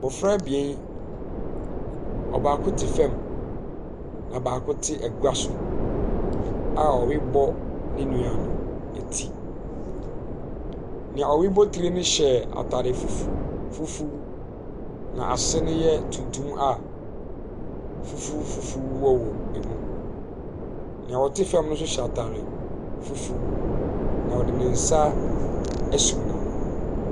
Mmɔfra bien. ɔbaako te fɛm ɛna baako te eguaso a ɔrebɔ ne nua no eti. Nea ɔrebɔ tire no hyɛ ataade fufu fufu na n'ase no yɛ tuntum a fufu fufu wɔwwɔ mu. Nea ɔte fam no nso hyɛ ataade fufu na ɔde ne nsa ɛsum n'ano.